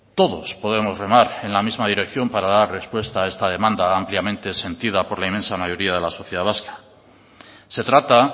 todos podemos remar en la misma dirección para dar respuesta a esta demanda ampliamente sentida por la inmensa mayoría de la sociedad vasca se trata